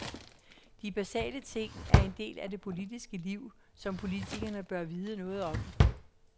De basale ting er en del af det politiske liv, som politikerne bør vide noget om.